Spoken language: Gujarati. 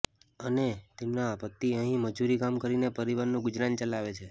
અને તેમના પતિ અહી મજુરી કામ કરીને પરીવારનું ગુજરાન ચલાવે છે